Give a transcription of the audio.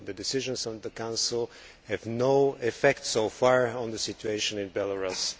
The decisions of the Council have had no effect so far on the situation in Belarus.